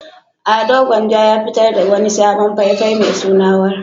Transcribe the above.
Ado Gwanja ya fitar da wani sabon fai-fai mai suna "War".